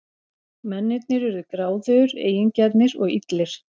Mennirnir urðu gráðugir, eigingjarnir og illir.